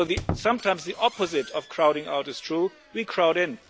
in'. So sometimes the opposite of crowding out is true we crowd